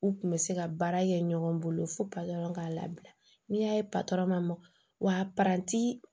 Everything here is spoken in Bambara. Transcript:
U kun bɛ se ka baara kɛ ɲɔgɔn bolo fo patɔrɔn k'a labila n'i y'a ye ma mɔgɔnti